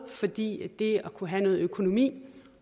fordi det at kunne have noget økonomi